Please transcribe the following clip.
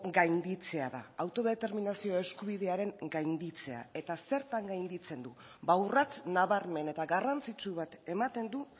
gainditzea da autodeterminazio eskubidearen gainditzea eta zertan gainditzen du ba urrats nabarmen eta garrantzitsu bat ematen du